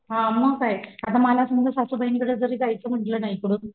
हा मग काय आता मलाच माझ्या सासू बाईंकडे जायचं म्हणलं ना इकडून